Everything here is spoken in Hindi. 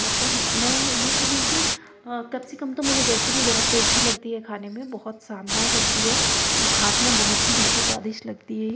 मतलब मैं ये कहूं कि अ कैप्सिकम तो मुझे वैसे भी बहोत टेस्टी लगती है खाने में बहोत शानदार लगती हैं। जब खाते है बहोत ही ज्यादा स्वादिष्ट लगती है। य --